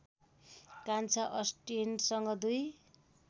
कान्छा अस्टिनसँग दुई